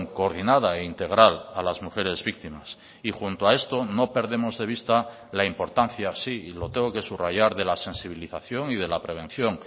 coordinada e integral a las mujeres víctimas y junto a esto no perdemos de vista la importancia así y lo tengo que subrayar de la sensibilización y de la prevención